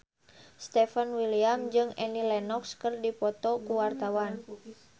Stefan William jeung Annie Lenox keur dipoto ku wartawan